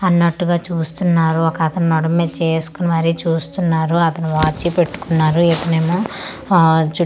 అన్నట్టుగా చూస్తున్నారు ఒక అతను నడుము మీద చేయి వేసుకొని మరి చూస్తున్నారు అతని వాచీ పెట్టుకున్నారు ఇతనేమో అ చు--